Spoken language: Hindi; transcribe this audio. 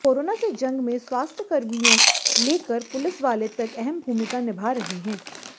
कोरोना से जंग में स्वास्थ्यकर्मियों लेकर पुलिस वाले तक अहम भूमिका निभा रहे हैं